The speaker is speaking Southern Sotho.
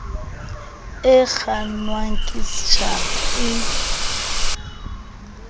e kgannwang ke stjhaba e